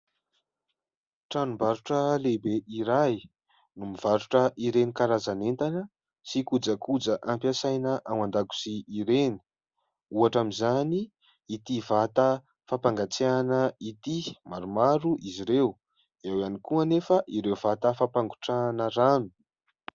Tranom-barotra lehibe iray no mivarotra ireny karazan'entana sy kojakoja ampiasaina ao an-dakozia ireny, ohatra amin'izany ity vata fampangatsiana ity, maromaro izy ireo, eo ihany koa anefa ireo vata fampangotrahana rano.